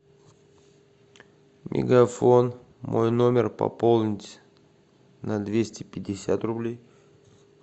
мегафон мой номер пополнить на двести пятьдесят рублей